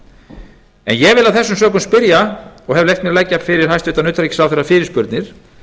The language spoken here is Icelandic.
ég vil af þessum sökum spyrja og hef leyft mér að leggja fyrir hæstvirtan utanríkisráðherra fyrirspurnir